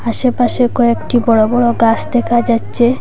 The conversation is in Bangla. আশেপাশে কয়েকটি বড় বড় গাস দেখা যাচ্ছে।